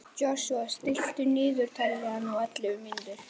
Joshua, stilltu niðurteljara á ellefu mínútur.